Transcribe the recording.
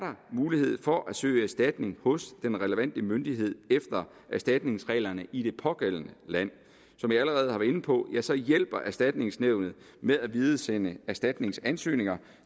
mulighed for at søge erstatning hos den relevante myndighed efter erstatningsreglerne i det pågældende land som jeg allerede har været inde på hjælper erstatningsnævnet med at videresende erstatningsansøgninger